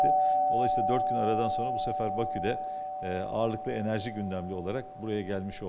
Beləliklə, 4 gün aradan sonra bu dəfə Bakıda eee ağırlıqlı enerji gündəmli olaraq buraya gəlmiş olduq.